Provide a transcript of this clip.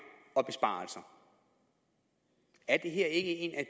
og besparelser er det her ikke en af